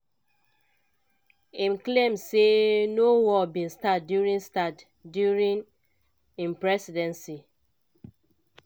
im claim say no war bin start during start during im presidency